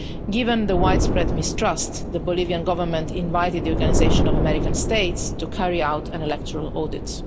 Given the widespread mistrust, the Bolivian government invited the Organisation of American States to carry out an electoral audit.